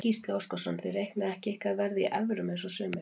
Gísli Óskarsson: Þið reiknið ekki ykkar verð í evrum eins og sumir?